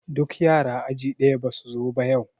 Duk yara aji ɗaya basu zo ba yau